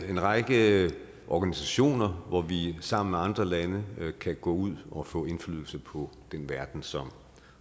en række organisationer hvor vi sammen med andre lande kan gå ud og få indflydelse på den verden som